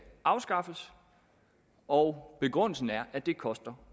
afskaffes og begrundelsen er at det koster